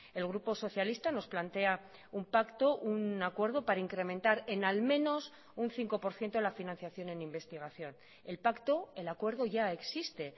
el grupo socialista nos plantea un pacto un acuerdo para incrementar en al menos un cinco por ciento la financiación en investigación el pacto el acuerdo ya existe